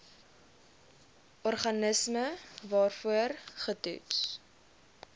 organisme waarvoor getoets